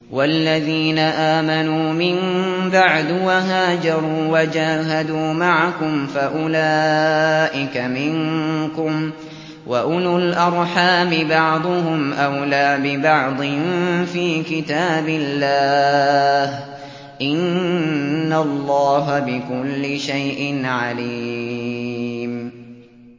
وَالَّذِينَ آمَنُوا مِن بَعْدُ وَهَاجَرُوا وَجَاهَدُوا مَعَكُمْ فَأُولَٰئِكَ مِنكُمْ ۚ وَأُولُو الْأَرْحَامِ بَعْضُهُمْ أَوْلَىٰ بِبَعْضٍ فِي كِتَابِ اللَّهِ ۗ إِنَّ اللَّهَ بِكُلِّ شَيْءٍ عَلِيمٌ